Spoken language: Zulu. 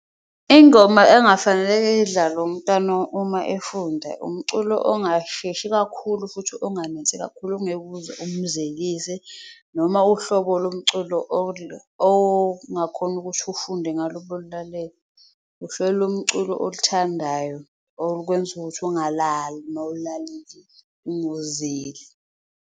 Ingoma engafaneleke idlalwe umntwana uma efunda umculo ongasheshi kakhulu futhi onganensi kakhulu ongeke uze umzelise, noma uhlobo lomculo ongakhona ukuthi ufunde ngalo ube ululalele. Lomculo oluthandayo olukwenza ukuthi ungalali mawululalelile ungozeli.